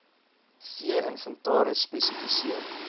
vee inventaris spesifiseer